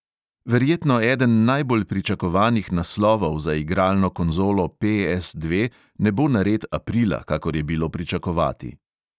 Verjetno eden najbolj pričakovanih naslovov za igralno konzolo PS dve ne bo nared aprila, kakor je bilo pričakovati.